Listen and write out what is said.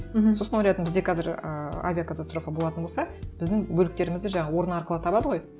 мхм сосын ойладым бізде қазір ыыы авиакатастрофа болатын болса біздің бөліктерімізді жаңағы орын арқылы табады ғой